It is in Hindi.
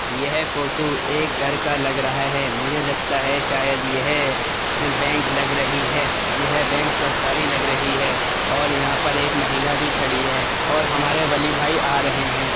यह फोटो एक घर का लग रहा है। मुझे लगता है कि यह बैंक लग रही है। यह बैंक सरकारी लग रही है और यह एक महिला पर भी खड़ी है और हमारा वली भाई आ रहे हैं।